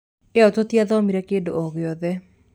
iyo tũtiathomire kĩndũ o gĩothe.